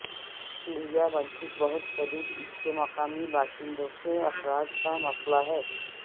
Chelyabinsk بہت شدید اس کے مقامی باشندوں کے اخراج کا مسئلہ ہے